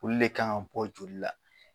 Olu de kan ka bɔ joli la.